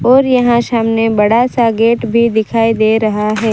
और यहां सामने बड़ा सा गेट भी दिखाई दे रहा है।